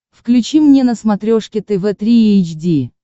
включи мне на смотрешке тв три эйч ди